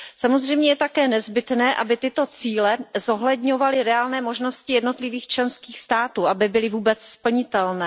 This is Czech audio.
Samozřejmě je také nezbytné, aby tyto cíle zohledňovaly reálné možnosti jednotlivých členských států, aby byly vůbec splnitelné.